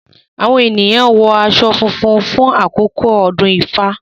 Awọn eniyan wọ aṣọ funfun lakoko odun ifa;